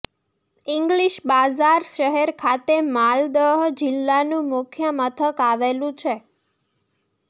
English Bazar શહેર ખાતે માલદહ જિલ્લાનું મુખ્ય મથક આવેલું છે